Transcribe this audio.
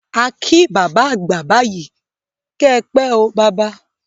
À kí bábá àgbà báyìi 'kẹ́ pẹ́ o baba'